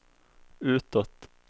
utåt